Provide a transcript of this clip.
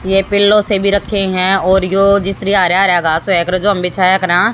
ये पिलो से भी रखे है और यो जिस तरह हरा-हरा घास होय कर्रे जो हम बिछाया करा।